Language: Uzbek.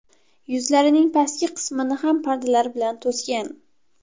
Yuzlarining pastki qismini ham pardalar bilan to‘sgan.